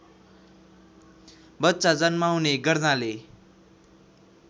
बच्चा जन्माउने गर्नाले